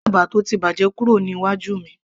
gbé ẹ̀bà tó ti bàjẹ́ kúrò níwájú mi